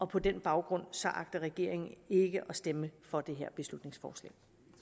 på den baggrund agter regeringen ikke at stemme for det her beslutningsforslag